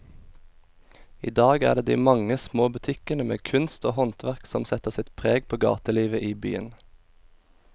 I dag er det de mange små butikkene med kunst og håndverk som setter sitt preg på gatelivet i byen.